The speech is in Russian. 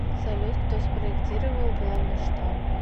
салют кто спроектировал главный штаб